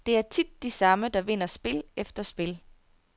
Det er tit de samme, der vinder spil efter spil.